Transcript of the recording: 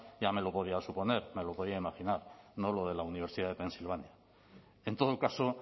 ya me lo podía suponer me lo podía imaginar no lo de la universidad de pennsylvania en todo caso